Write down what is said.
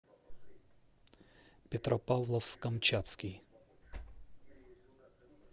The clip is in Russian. петропавловск камчатский